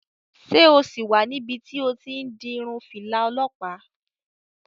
Ṣé o sì wà níbi tí o ti n di irun fìlà olọ́pàá?